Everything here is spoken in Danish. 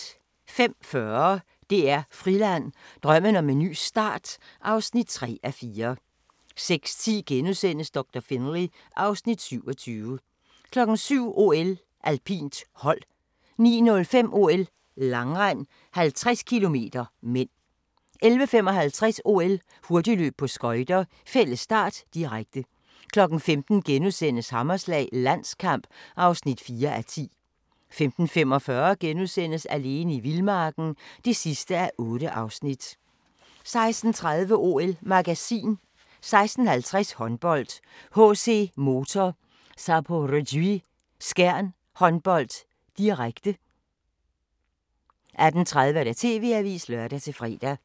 05:40: DR Friland: Drømmen om en ny start (3:4) 06:10: Doktor Finlay (Afs. 27)* 07:00: OL: Alpint, hold 09:05: OL: Langrend, 50 km (m) 11:55: OL: Hurtigløb på skøjter, fælles start, direkte 15:00: Hammerslag – Landskamp (4:10)* 15:45: Alene i vildmarken (8:8)* 16:30: OL-magasin 16:50: Håndbold: HC Motor Zaporozhye-Skjern Håndbold, direkte 18:30: TV-avisen (lør-fre)